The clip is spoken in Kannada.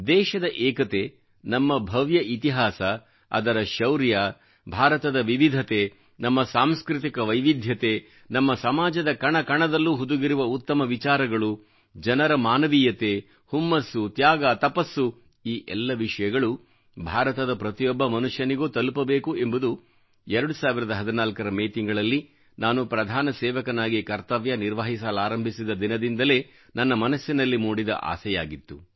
ದೇಶದ ಏಕತೆ ನಮ್ಮ ಭವ್ಯ ಇತಿಹಾಸ ಅದರ ಶೌರ್ಯ ಭಾರತದ ವಿವಿಧತೆ ನಮ್ಮ ಸಾಂಸ್ಕೃತಿಕ ವೈವಿಧ್ಯತೆ ನಮ್ಮ ಸಮಾಜದ ಕಣ ಕಣದಲ್ಲೂ ಹುದುಗಿರುವ ಉತ್ತಮ ವಿಚಾರಗಳು ಜನರ ಮಾನವೀಯತೆ ಹುಮ್ಮಸ್ಸು ತ್ಯಾಗ ತಪಸ್ಸು ಈ ಎಲ್ಲ ವಿಷಯಗಳು ಭಾರತದ ಪ್ರತಿಯೊಬ್ಬ ಮನುಷ್ಯನಿಗೂ ತಲುಪಬೇಕು ಎಂಬುದು 2014 ರ ಮೇ ತಿಂಗಳಲ್ಲಿ ನಾನು ಪ್ರಧಾನ ಸೇವಕನಾಗಿ ಕರ್ತವ್ಯ ನಿಭಾಯಿಸಲಾರಂಭಿಸಿದ ದಿನದಿಂದಲೇ ನನ್ನ ಮನಸ್ಸಿನಲ್ಲಿ ಮೂಡಿದ ಆಸೆಯಾಗಿತ್ತು